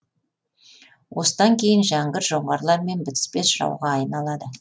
осыдан кейін жәңгір жоңғарлармен бітіспес жауға айналады